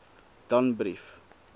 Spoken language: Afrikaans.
danbrief